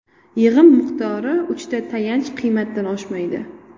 Yig‘im miqdori uchta tayanch qiymatdan oshmaydi.